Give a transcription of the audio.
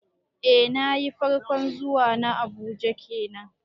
Eh nayi, farkon zuwa na Abuja kenan